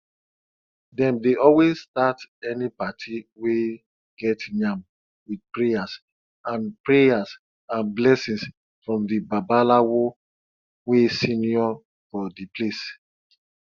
dem dey always start any party wey get yam with prayers and prayers and blessings from the babalawo wey senior for d place